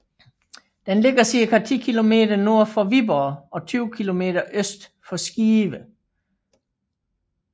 Den ligger cirka 10 km nord for Viborg og 20 km øst for Skive